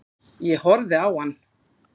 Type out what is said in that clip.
Ég horfði á hann.